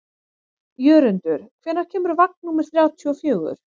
Jörundur, hvenær kemur vagn númer þrjátíu og fjögur?